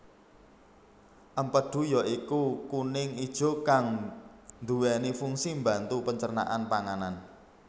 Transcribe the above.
Empedhu ya iku kuning ijo kang nduweni funsi mbantu pencernaan panganan